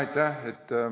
Aitäh!